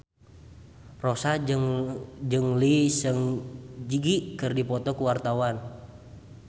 Rossa jeung Lee Seung Gi keur dipoto ku wartawan